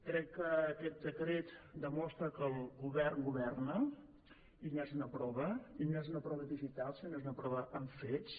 crec que aquest decret demostra que el govern governa i n’és una prova i no és una prova digital sinó que és una prova amb fets